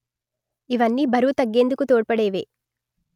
ఇవన్నీ బరువు తగ్గేందుకు తోడ్పడేవే